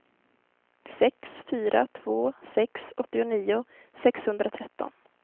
sex fyra två sex åttionio sexhundratretton